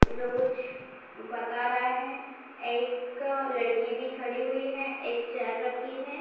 जो कुछ बता रहा है एक लड़की भी खड़ी हुई है एक चेयर रखी है ।